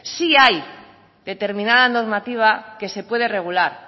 sí hay determinada normativa que se puede regular